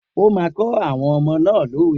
O máa kọ́ àwọn ọmọ náà ni òwe!